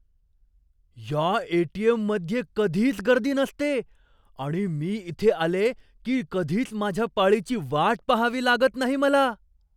या ए.टी.एम.मध्ये कधीच गर्दी नसते आणि मी इथे आले की कधीच माझ्या पाळीची वाट पाहावी लागत नाही मला.